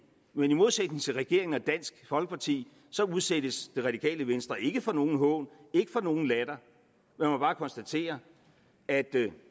men i modsætning til regeringen og dansk folkeparti udsættes det radikale venstre ikke for nogen hån ikke for nogen latter jeg må bare konstatere at det